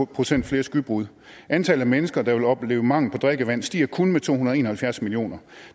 procent flere skybrud antallet af mennesker der vil opleve mangel på drikkevand stiger kun med to hundrede og en og halvfjerds millioner